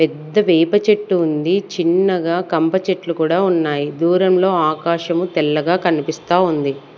పెద్ద వేప చెట్టు ఉంది చిన్నగా కంప చెట్లు కూడా ఉన్నాయి దూరంలో ఆకాశము తెల్లగా కనిపిస్తా ఉంది.